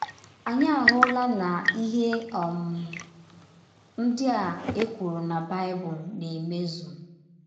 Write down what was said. Anyị ahụla na ihe um ndị a e kwụrụ na Baịbụl na - emezụ!